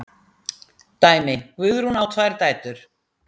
Dæmi: Guðrún á tvær dætur.